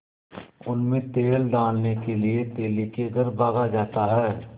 उनमें तेल डालने के लिए तेली के घर भागा जाता है